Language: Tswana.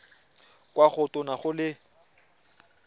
kwa go tona go le